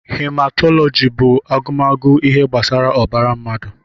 Hematọlọji bú agụmagụ ihe gbasara ọbara mmadụ.